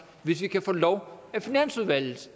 hvis vi kan få lov af finansudvalget